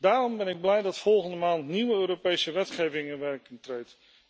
Daarom ben ik blij dat volgende maand nieuwe Europese wetgeving in werking treedt.